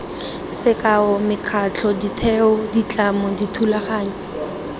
sekao mekgatlho ditheo ditlamo dithulaganyo